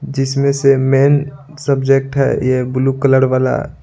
जिसमें से main subject है यह ब्लू कलर वाला।